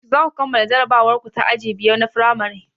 Yaushe zaku kammala jarabawar ku ta aji biyar na firamare?